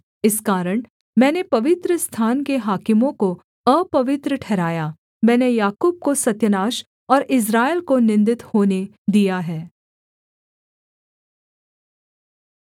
इस कारण मैंने पवित्रस्थान के हाकिमों को अपवित्र ठहराया मैंने याकूब को सत्यानाश और इस्राएल को निन्दित होने दिया है